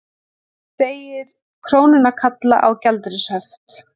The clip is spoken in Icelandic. Segir krónuna kalla á gjaldeyrishöft